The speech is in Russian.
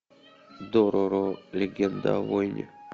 дороро легенда о воине